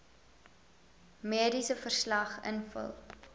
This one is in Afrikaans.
mediese verslag invul